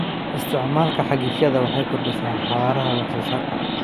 Isticmaalka cagafyada waxay kordhisaa xawaaraha wax soo saarka.